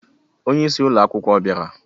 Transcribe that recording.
Onye isi akwụkwọ ọ bịara?